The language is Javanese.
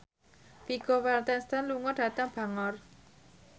Vigo Mortensen lunga dhateng Bangor